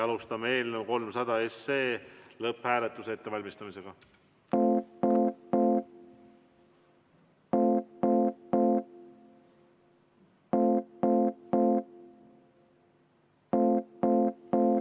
Alustame eelnõu 300 lõpphääletuse ettevalmistamist.